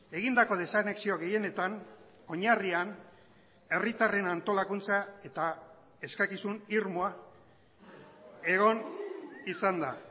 egindako desanexio gehienetan oinarrian herritarren antolakuntza eta eskakizun irmoa egon izan da